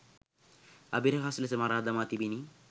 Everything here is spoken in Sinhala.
අභිරහස් ලෙස මරා දමා තිබිණි.